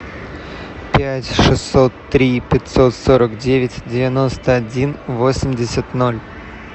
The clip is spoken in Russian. пять шестьсот три пятьсот сорок девять девяносто один восемьдесят ноль